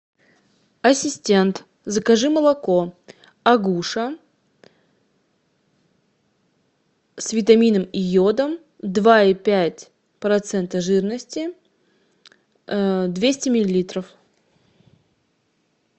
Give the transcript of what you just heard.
ассистент закажи молоко агуша с витамином и йодом два и пять процента жирности двести миллилитров